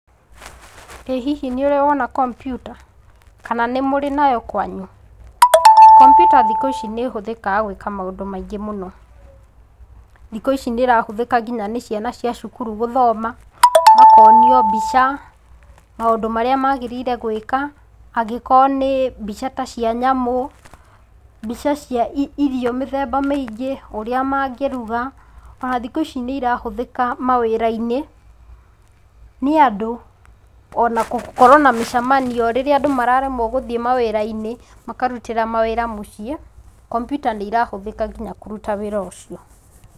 Ĩ hihi nĩ ũrĩ wona kompyuta, kana nĩ mũrĩ nayo kwanyu, kompyuta thikũ ici nĩ ĩhũthĩkaga gwĩka maũndũ maingĩ mũno, thikũ ici nĩ ĩrahũthĩka nginya nĩ ciana cia cukuru gũthoma, makonio mbica, maũndũ marĩa magĩrĩire gwĩka, angĩkorwo nĩ mbica ta cia nyamũ, mbica cia irio mĩthemba mĩingĩ, ũrĩa mangĩruga, o na thikũ ici nĩ irahũthĩka mawĩra-inĩ nĩ andũ, o na gũkorwo na mĩcamanio, rĩrĩa andũ mararemwo gũthiĩ mawĩra-inĩ makarutĩra mawĩra mũciĩ, kompyuta nĩ ĩrahũthĩka nginya kũruta wĩra ũcio.